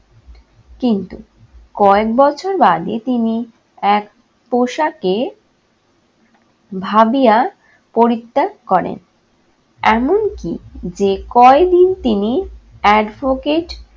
কিন্তু কয়েক বছর বাদই তিনি এক পোশাকে ভাবিয়া পরিত্যাগ করেন। এমনকি যে কয়দিন তিনি advocate